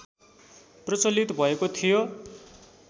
प्रचलित भएको थियो